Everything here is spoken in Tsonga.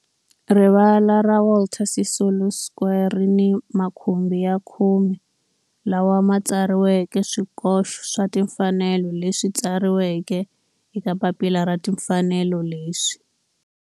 Rivala ra Walter Sisulu Square ri ni makhumbi ya khume lawa ma tsariweke swikoxo swa timfanelo leswi tsariweke eka papila ra timfanelo leswi